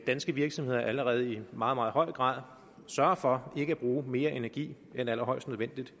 danske virksomheder allerede i meget meget høj grad sørger for ikke at bruge mere energi end allerhøjst nødvendigt